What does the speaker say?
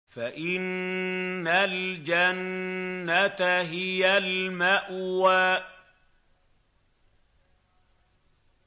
فَإِنَّ الْجَنَّةَ هِيَ الْمَأْوَىٰ